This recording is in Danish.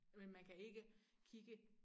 Men man kan ikke kigge